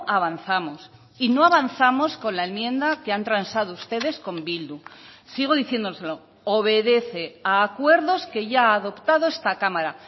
avanzamos si no avanzamos con la enmienda que han transado ustedes con bildu sigo diciéndoselo obedece a acuerdos que ya ha adoptado esta cámara